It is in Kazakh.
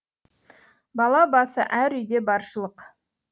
бала басы әр үйде баршылық